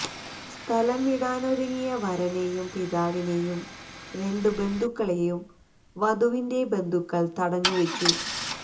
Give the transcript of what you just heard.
സ്ഥലംവിടാനൊരുങ്ങിയ വരനെയും പിതാവിനെയും രണ്ട് ബന്ധുക്കളെയും വധുവിന്റെ ബന്ധുക്കള് തടഞ്ഞു വച്ചു